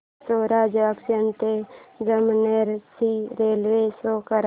Pachora junction ते जामनेर ची railway show कर